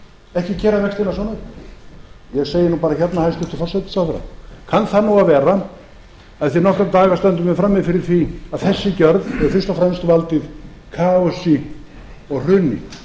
ekki gera svona hluti ég segi bara hérna hæstvirtur forsætisráðherra kann það að vera að eftir nokkra daga stöndum við frammi fyrir því að þessi gjöld hefðu fyrst og fremst valdið kaosi og hruni